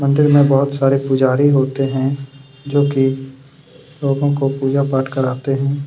मंदिर में बुहत सारे पुजारी होते हैं जोकि लोगो को पूजा पाठ करवाते हैं।